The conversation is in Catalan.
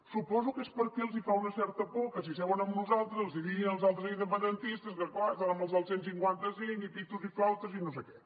suposo que és perquè els fa una certa por que si seuen amb nosaltres els diguin els altres independentistes que clar estan amb els del cent i cinquanta cinc i pitos i flautes i no sé què